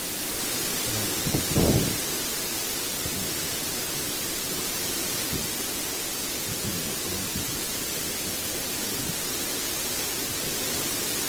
Yana da kyau mutum ya san lokacin da zai daina aiki domin jin daɗin lokacinsa.